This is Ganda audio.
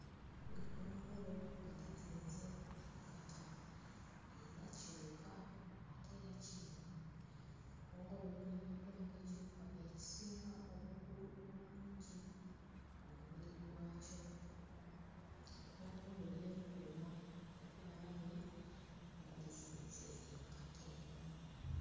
Eggongolo nga lizinze enkata era kiwuka ate era kiruma. Eggongolo limanyiddwa ng'ekiwuka ekisinga obugulu obungi ku mubiri gwakyo. Eggongolo lyekuuma ku balabe nga lizinze enkata eno.